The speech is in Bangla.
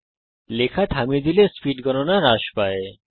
আপনি যদি লেখা থামিয়ে দেন স্পীড গণনা হ্রাস পায়